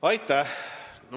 Aitäh!